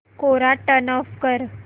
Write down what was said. कोरा turn off कर